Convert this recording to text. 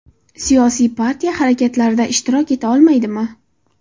Siyosiy partiya harakatlarida ishtirok eta olmaydimi?